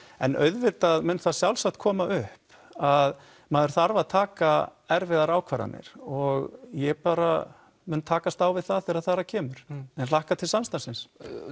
en auðvitað mun það sjálfsagt koma upp að maður þarf að taka erfiðar ákvarðanir og ég bara mun takast á við það þegar þar að kemur en hlakka til samstarfsins